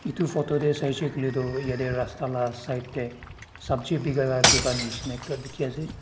itu photo teh saishey kuile tu yete rasta la side teh sabji bikaila dukan nishina ekta dikhi ase.